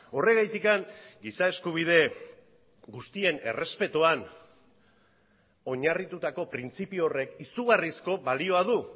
horregatik giza eskubide guztien errespetuan oinarritutako printzipio horrek izugarrizko balioa du